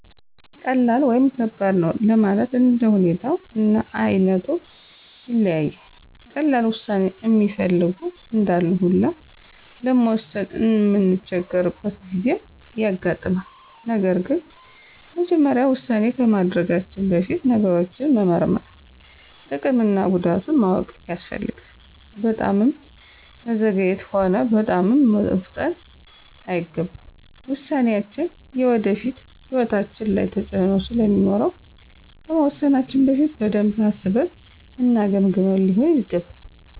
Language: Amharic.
ቀላል ወይም ከባድ ነው ለማለት እንደ ሁኔታው እና አይነቱ ይለያያል። ቀላል ዉሳኔ እሚፈልጉ እንዳሉ ሁላ ለመወሰን እምንቸገርበት ጊዜም ያጋጥማል። ነገር ግን መጀመሪያ ዉሳኔ ከማድረጋችን በፊት ነገሮችን መመርመር፤ ጥቅም እና ጉዳቱን ማወቅ ያስፈልጋል። በጣምም መዘግየት ሆነ በጣምም መፍጠን አይገባም። ውሳኔያችን የወደፊት ሕይወታችን ላይ ተፅእኖ ስለሚኖረው ከመወሰናችን በፊት በደንብ አስበን እና ገምግመን ሊሆን ይገባል።